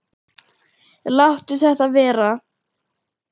Láttu þetta vera!